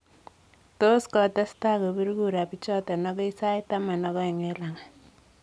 Tot kotesastai kobir kura bichoton agoi sait taman ak ooeng' en lang'at.